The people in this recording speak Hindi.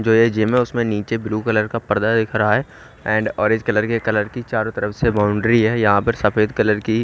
जो ये जीम है उसमें नीचे ब्लू कलर का पर्दा दिख रहा है एंड ऑरेंज कलर के कलर की चारों तरफ से बाउंड्री है यहां पर सफेद कलर की--